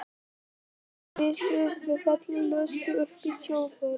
Þykistu vera prófessor í lúsum, þarna Lilla lús!